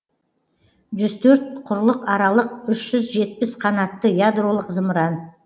жүз төрт құрлықаралық үш жүз жетпіс қанатты ядролық зымыран